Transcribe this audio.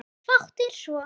Fátt er svo.